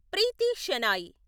Preethi Shenoy